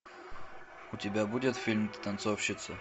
у тебя будет фильм танцовщица